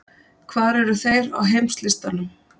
Hvar eru þeir á heimslistanum?